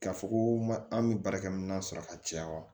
K'a fɔ ko ma an bɛ baarakɛminɛn sɔrɔ ka caya wa